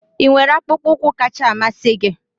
ị nwere akpụkpọ ụkwụ kacha mmasị gị?